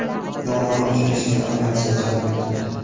Yong‘in o‘chirishga aviatsiya jalb etildi.